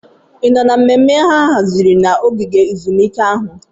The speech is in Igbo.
Ị nọ na mmemme a haziri na ogige ezumike ahụ?